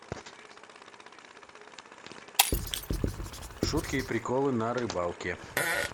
шутки и приколы на рыбалке